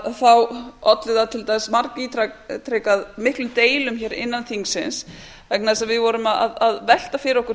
að þá olli það til dæmis margítrekað miklum deilum hér innan þingsins vegna þess að við vorum að velta fyrir okkur